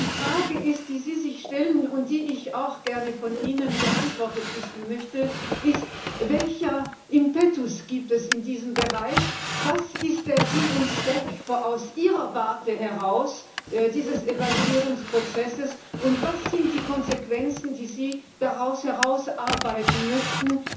Die Frage, die Sie sich stellen und die ich auch gerne von Ihnen beantwortet wissen möchte, ist Welchen Impetus gibt es in diesem Bereich, was ist von Ihrer Warte aus der Sinn und Zweck dieses Evaluierungsprozesses, und was sind die Konsequenzen, die Sie daraus herausarbeiten möchten?